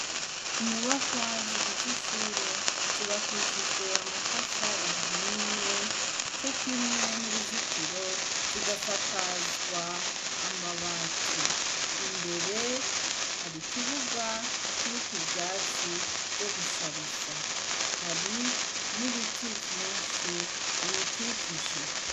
Inyubakwa zigize ishure zubakishije amatafari ahiye cokimwe n' uruzitiro zigasakazwa amabati imbere hari ikibuga kiriko ivyatsi vyo gushariza hari n' ibiti vyinshi biyikikije.